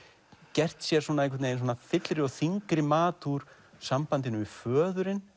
gert sér fyllri og þyngri mat úr sambandinu við föðurinn